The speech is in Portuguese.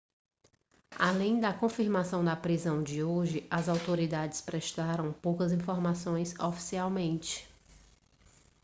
além da confirmação da prisão de hoje as autoridades prestaram poucas informações oficialmente